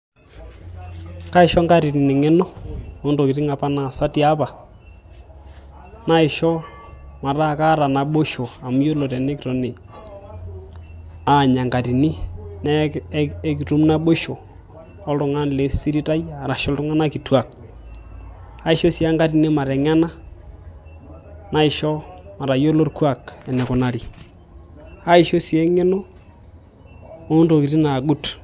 Kaisho inkatitin eng'eno ontokitin apa naasa tiatua naisho mataa kaata naboisho amu yiolo tenikitoni aanya enkatini naa ekitum naboisho oltung'ani lesirit aai arashuu iltung'anak kituak aishoo sii enkatini mateng'ena naisho matayiolo orkuak eneikunari aisho sii eng'eno oontokitin naagut.